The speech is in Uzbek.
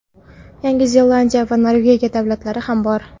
Yangi Zelandiya va Norvegiya davlatlari ham bor.